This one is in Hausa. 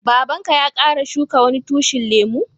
Babba'n ka ya kara shuki wasu tushin lemu?